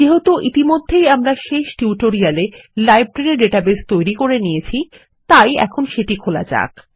যেহেতু ইতিমধ্যেই আমরা শেষ টিউটোরিয়ালে লাইব্রেরী ডাটাবেস তৈরি করে নিয়েছি তাই এখন সেটি খোলা যাক